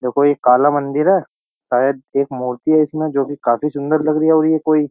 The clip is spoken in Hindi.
देखो ये काला मंदिर है शायद एक मूर्ति है इसमें जो कि काफी सुंदर लग रही है और ये कोई --